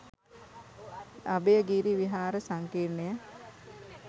Abhayagiri Vihara සංකීර්ණය